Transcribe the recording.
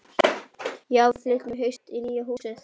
Já, en við flytjum í haust í nýja húsið.